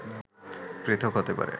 পৃথক হতে পারে